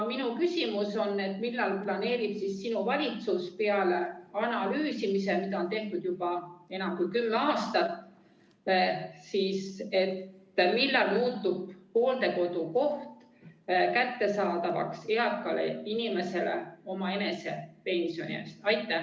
" Minu küsimus on: millal planeerib sinu valitsus – peale analüüsimise, mida on tehtud juba enam kui kümme aastat – muuta hooldekodukoha kättesaadavaks eakale inimesele omaenese pensioni eest?